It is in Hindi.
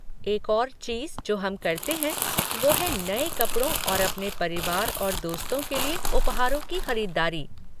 एक और चीज़ जो हम करते हैं वो है नए कपड़ों और अपने परिवार और दोस्तों के लिए उपहारों की ख़रीदारी।